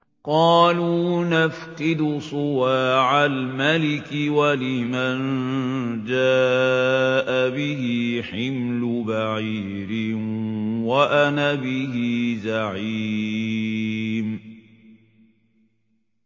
قَالُوا نَفْقِدُ صُوَاعَ الْمَلِكِ وَلِمَن جَاءَ بِهِ حِمْلُ بَعِيرٍ وَأَنَا بِهِ زَعِيمٌ